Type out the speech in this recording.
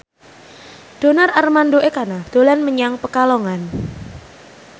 Donar Armando Ekana dolan menyang Pekalongan